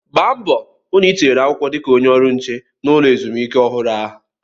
Gba mbọ hụ na ị tinyere akwụkwọ dị ka onye ọrụ nche na ulọ ezumike ọhụrụ ahụ!